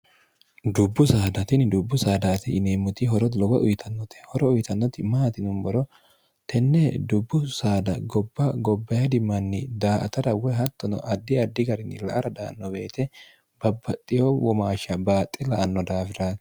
dubbu saadaatinni dubbu saadaati ineemmoti horo lowa uyitannote horo uyitannoti maati numboro tenne dubbu saada gobba gobbaydimanni daa ata dawe hattono addi addi garinni la aradhaanno beete babbaxxiyo womaashsha baaxxi la anno daafirati